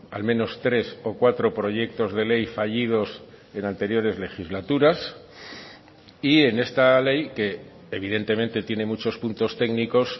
al menos tres o cuatro proyectos de ley fallidos en anteriores legislaturas y en esta ley que evidentemente tiene muchos puntos técnicos